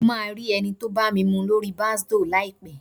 Mo máa rí ẹni tó bámimu lóri Bàsdóò láìpẹ́